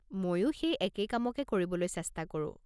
মইও সেই একেই কামকে কৰিবলৈ চেষ্টা কৰো।